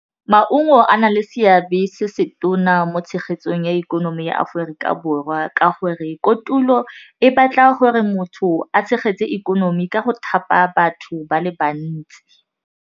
Maungo a na le seabe se se tona mo tshegetsong ya ikonomi ya Aforika Borwa ka gore kotulo e batla gore motho a tshegetse ikonomi ka go thapa batho ba le bantsi.